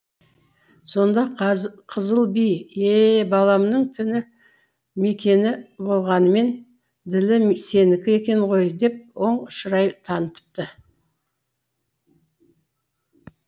сонда қызылби е е баламның тіні мекені болғанмен ділі сенікі екен ғой деп оң шырай танытыпты